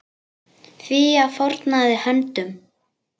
Fía fórnaði höndum.